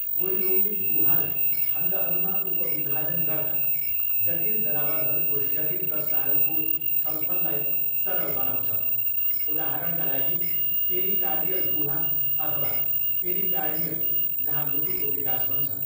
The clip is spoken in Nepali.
कोइलोमिक गुहालाई खण्डहरूमा उपविभाजन गर्दा जटिल जनावरहरूको शरीर रचनाहरूको छलफललाई सरल बनाउँछ। उदाहरणका लागि, पेरिकार्डियल गुहा अथवा पेरिकार्डियम, जहाँ मुटुको विकास हुन्छ।